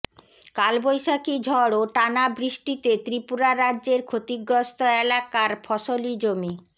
কালবৈশাখী ঝড় ও টানা বৃষ্টিতে ত্রিপুরা রাজ্যের ক্ষতিগ্রস্ত এলাকার ফসলি জমি